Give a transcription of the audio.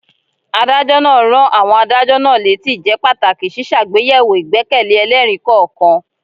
Adájọ́ náà rán àwọn adájọ́ náà létí ìjẹ́pàtàkì ṣíṣàgbéyẹ̀wò ìgbẹ́kẹ̀lé ẹlẹ́rìí kọ̀ọ̀kan.